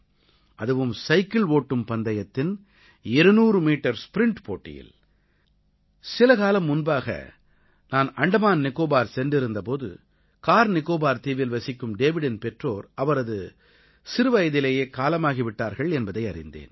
அதுவும் சைக்கிள் ஓட்டும் பந்தயத்தின் 200 மீட்டர் ஸ்ப்ரிண்ட் போட்டியில் சிலகாலம் முன்பாக நான் அண்டமான் நிக்கோபார் சென்றிருந்த போது கார் நிக்கோபார் தீவில் வசிக்கும் டேவிடின் பெற்றோர் அவரது சிறுவயதிலேயே காலமாகி விட்டார்கள் என்பதை அறிந்தேன்